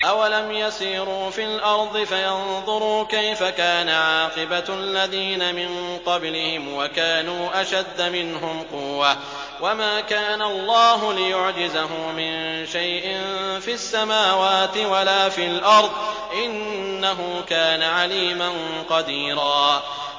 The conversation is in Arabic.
أَوَلَمْ يَسِيرُوا فِي الْأَرْضِ فَيَنظُرُوا كَيْفَ كَانَ عَاقِبَةُ الَّذِينَ مِن قَبْلِهِمْ وَكَانُوا أَشَدَّ مِنْهُمْ قُوَّةً ۚ وَمَا كَانَ اللَّهُ لِيُعْجِزَهُ مِن شَيْءٍ فِي السَّمَاوَاتِ وَلَا فِي الْأَرْضِ ۚ إِنَّهُ كَانَ عَلِيمًا قَدِيرًا